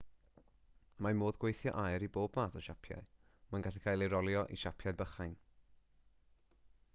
mae modd gweithio aur i bob math o siapiau mae'n gallu cael ei rolio i siapiau bychain